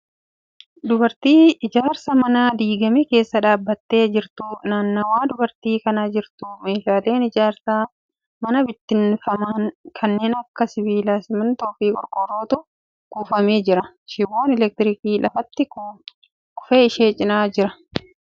Dubartii ijaarsa manaa diigame keessa dhaabbattee jirtu. nannawa dubartiin Kun jirtu meeshaaleen ijaarsa manaa biittinfaman kanneen Akka sibiilaa, simintoofi qorqoorrootu kukkufee jira. shiboon elektirikii lafatti kufe ishee cinaa jira. dubartittiin gabaabumatti Kan argamu ijaarsa diigamaa keessattiidha.